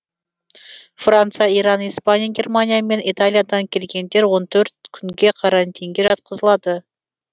франция иран испания германия мен италиядан келгендер он төрт күнге карантинге жатқызылады